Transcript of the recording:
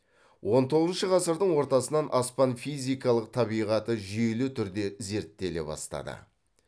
он тоғызыншы ғасырдың ортасынан аспан физикалық табиғаты жүйелі түрде зерттеле бастады